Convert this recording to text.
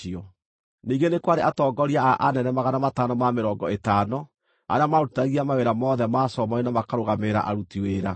Ningĩ nĩ kwarĩ atongoria a anene 550 arĩa maarutithagia mawĩra mothe ma Solomoni na makarũgamĩrĩra aruti wĩra.